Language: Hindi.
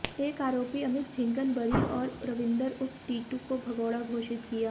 एक आरोपी अमित झिंगन बरी और रविंदर उर्फ टीटू को भगोड़ा घोषित किया